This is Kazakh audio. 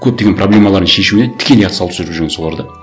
көптеген проблемаларын шешуіне тікелей атсалысып жүрген солар да